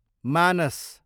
मानस